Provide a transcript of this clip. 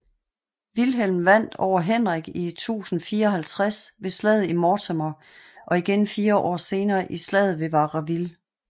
Vilhelm vandt over Henrik i 1054 ved slaget i Mortemer og igen fire år senere i slaget ved Varaville